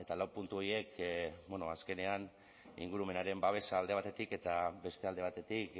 lau puntu horiek azkenean ingurumenaren babesa alde batetik eta beste alde batetik